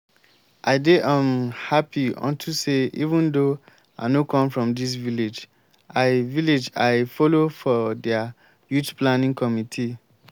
i dey um happy unto say even though i no come from dis village i village i follow for their youth planning committee